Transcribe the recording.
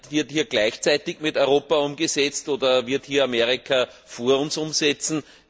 Wird hier gleichzeitig mit Europa umgesetzt oder wird Amerika vor uns umsetzen?